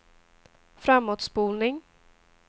framåtspolning